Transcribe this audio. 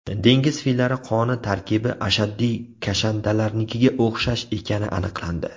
Dengiz fillari qoni tarkibi ashaddiy kashandalarnikiga o‘xshash ekani aniqlandi.